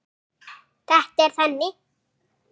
Þetta er þannig.